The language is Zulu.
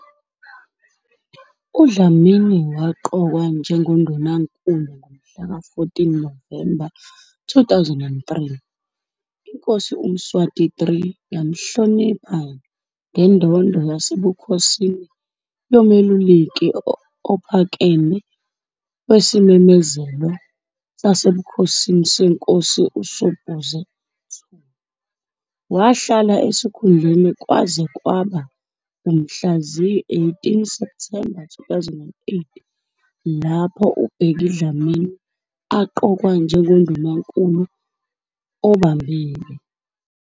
UDlamini waqokwa njengoNdunankulu ngomhlaka 14 Novemba 2003. INkosi uMswati III yamhlonipha "ngeNdondo Yasebukhosini Yomeluleki Ophakeme weSimemezelo Sasebukhosini Senkosi uSobhuza II." Wahlala esikhundleni kwaze kwaba ngumhla ziyi-18 Septhemba 2008 lapho uBheki Dlamini aqokwa njengeNdunankulu obambile.